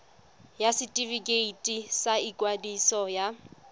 ya setefikeiti sa ikwadiso ya